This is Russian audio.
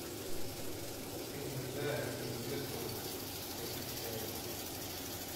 фильм гайдая где невесту похищают